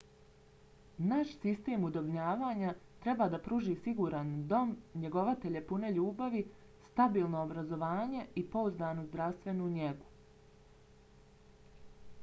naš sistem udomljavanja treba da pruži siguran dom njegovatelje pune ljubavi stabilno obrazovanje i pouzdanu zdravstvenu njegu